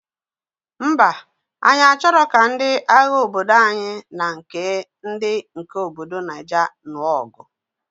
Ḿbà, anyi achọrọ ka ndị agha obodo anyị na nke ndị nke obodo Naija nuo ọgụ.